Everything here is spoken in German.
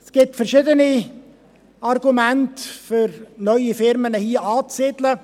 Es gibt verschiedene Argumente, um neue Unternehmen hier anzusiedeln.